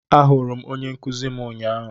Ahụrụ m onye nkuzi m ụnyahụ